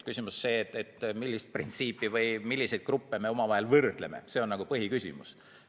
Küsimus, milliseid gruppe me omavahel võrdleme, on nagu põhiküsimus.